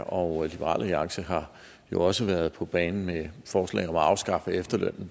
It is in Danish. og liberal alliance har jo også været på banen med et forslag om at afskaffe efterlønnen